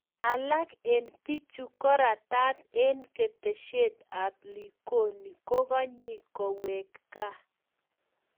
Alak eng' piichu korataat eng' ketesyet ap likoni kogaanyi koweek gaa